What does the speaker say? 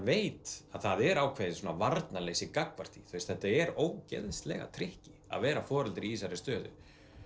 veit að það er ákveðið varnarleysi gagnvart því þetta er ógeðslega að vera foreldri í þessari stöðu